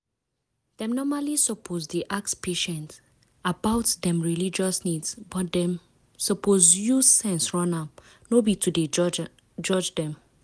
dem normally suppose dey ask patient about dem religious needs but dem suppose use sense run am no be to dey judge dem.